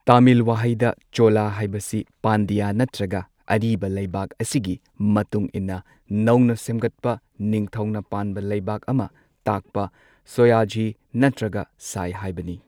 ꯇꯥꯃꯤꯜ ꯋꯥꯍꯩꯗ ꯆꯣꯂ ꯍꯥꯏꯕꯁꯤ ꯄꯥꯟꯗ꯭ꯌꯥ ꯅꯠꯇ꯭ꯔꯒ ꯑꯔꯤꯕ ꯂꯩꯕꯥꯛ ꯑꯁꯤꯒꯤ ꯃꯇꯨꯡ ꯏꯟꯅ ꯅꯧꯅ ꯁꯦꯝꯒꯠꯄ ꯅꯤꯡꯊꯧꯅ ꯄꯥꯟꯕ ꯂꯩꯕꯥꯛ ꯑꯃ ꯇꯥꯛꯄ ꯁꯣꯌꯥꯓꯤ ꯅꯠꯇ꯭ꯔꯒ ꯁꯥꯏ ꯍꯥꯏꯕꯅꯤ꯫